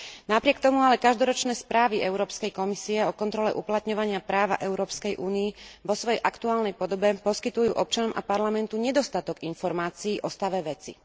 Napriek tomu ale každoročné správy Európskej komisie o kontrole uplatňovania práva v Európskej únii vo svojej aktuálnej podobe poskytujú občanom a Parlamentu nedostatok informácií o stave veci.